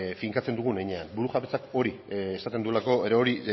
finkatzen dugun heinean burujabetzak hori esaten duela edo hori